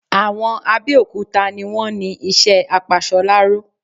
Àwọn Abẹ́okúta ni wọ́n ni isẹ́ apasoláró